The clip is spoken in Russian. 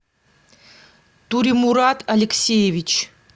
туремурат алексеевич